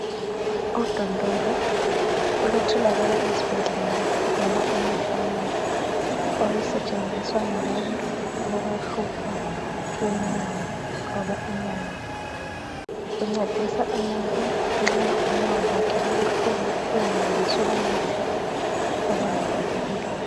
Udondolo olutholakala esibhedlela loba emafamasi olusetshenziswa ngabantu abalohlupho lwenyawo loba inyawo luncedisa umuntu nxa unyawo lwakhe lubuhlungu lungenelisi ukunyathela loba luvuvukile.